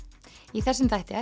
í þessu þætti